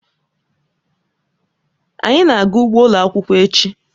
Anyị na-aga ugbo ụlọ akwụkwọ echi.